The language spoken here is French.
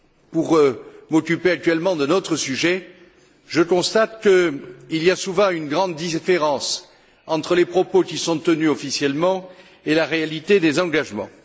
Pour m'occuper actuellement d'un autre sujet, je constate qu'il y a souvent une grande différence entre les propos qui sont tenus officiellement et la réalité des engagements.